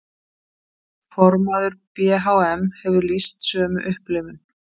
Formaður BHM hefur lýst sömu upplifun